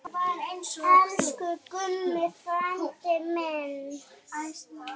Elsku Gummi frændi minn.